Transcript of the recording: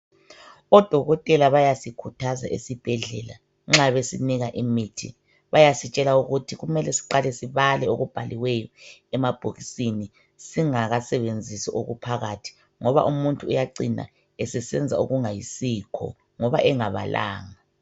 Odokotela bayasikhuthaza esibhedlela nxa besinika imithi bayasintshela ukuthi kumele siqale sibale okubhaliweyo emabhokisini singakasebenzisi okuphakathi ngoba umuntu uyacina esenza okungayisikho ngoba engabalanga .